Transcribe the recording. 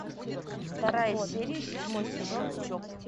вторая серия седьмой сезон чоп